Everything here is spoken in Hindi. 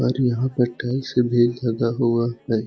और यहाँ पर टाइल्स सब भी लगा हुआ हैं।